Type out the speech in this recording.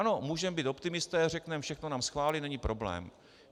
Ano, můžeme být optimisté, řekneme, všechno nám schválí, není problém.